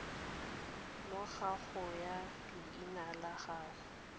morago ga leina la gago